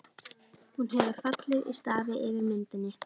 Hún hefur fallið í stafi yfir myndinni.